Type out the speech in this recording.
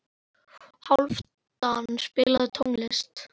Hálfdan, spilaðu tónlist.